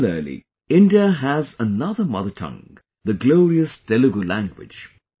Similarly, India has another mother tongue, the glorious Telugu language